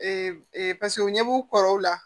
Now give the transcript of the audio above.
paseke u ɲɛ b'u kɔrɔw la